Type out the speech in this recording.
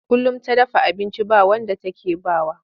Kullum ta dafa abinci ba wanda take ba wa.